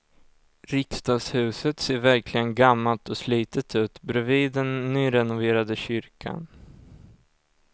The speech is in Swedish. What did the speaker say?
Riksdagshuset ser verkligen gammalt och slitet ut bredvid den nyrenoverade kyrkan.